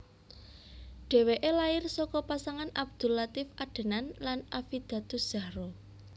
Dheweke lair saka pasangan Abdul Latief Adenan lan Affidatuzzahro